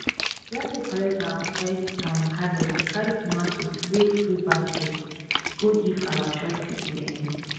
wen we don collect our first um harvest we carry tomatoes wey full basket go give our church people um